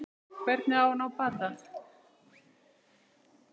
Hvernig á að ná bata?